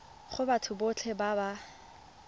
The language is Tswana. go batho botlhe ba ba